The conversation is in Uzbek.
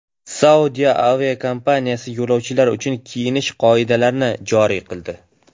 Saudiya aviakompaniyasi yo‘lovchilar uchun kiyinish qoidalarini joriy qildi.